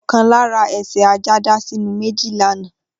Okan lara ese ajá dá sinu meji lana.